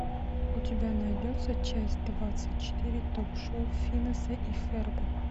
у тебя найдется часть двадцать четыре ток шоу финеса и ферба